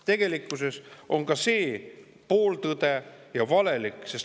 Tegelikkuses on ka see pooltõde ja valelik.